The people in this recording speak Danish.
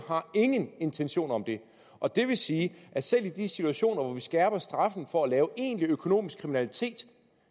ingen intentioner om og det vil sige at selv i de situationer hvor vi skærper straffen for at begå egentlig økonomisk kriminalitet